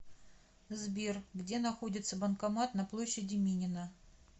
сбер где находится банкомат на площади минина